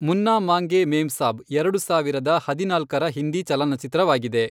ಮುನ್ನಾ ಮಾಂಗೇ ಮೇಮ್ಸಾಬ್ ಎರಡು ಸಾವಿರದ ಹದಿನಾಲ್ಕರ ಹಿಂದಿ ಚಲನಚಿತ್ರವಾಗಿದೆ.